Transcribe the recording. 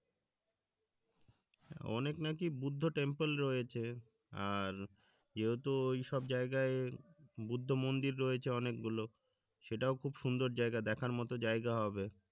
অনেক নাকি বুদ্ধ টেম্পল রয়েছে আর যেহেতু ওই সব জায়গায় বুদ্ধ মন্দির রয়েছে অনেক গুলো সেটাও খুব সুন্দর জায়গা দেখার মতো জায়গা হবে